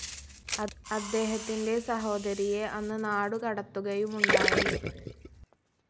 അദ്ദേഹത്തിന്റെ സഹോദരിയെ അന്ന് നാടുകടത്തുകയുമുണ്ടായി.